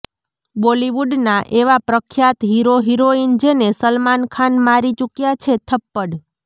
બોલીવુડના એવા પ્રખ્યાત હીરો હિરોઈન જેને સલમાન ખાન મારી ચુક્યા છે થપ્પડ